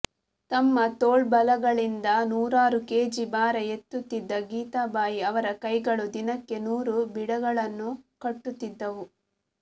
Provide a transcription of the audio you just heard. ತಮ್ಮ ತೋಳ್ಬಲಗಳಿಂದ ನೂರಾರು ಕೆಜಿ ಭಾರ ಎತ್ತುತ್ತಿದ್ದ ಗೀತಾ ಬಾಯಿ ಅವರ ಕೈಗಳು ದಿನಕ್ಕೆ ನೂರು ಬೀಡಾಗಳನ್ನು ಕಟ್ಟುತ್ತಿದ್ದವು